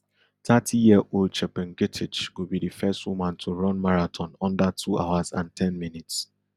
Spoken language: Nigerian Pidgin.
thirtyyearold chepngetich go be di first woman to run marathon under two hours and ten minutes